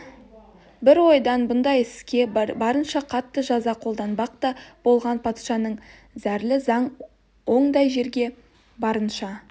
бір ойдан бұндай іске барынша қатты жаза қолданбақ та болған патшалықтың зәрлі заң ондай жерге барынша